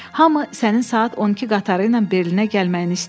Hamı sənin saat 12 qatarı ilə Berlinə gəlməyini istəyir.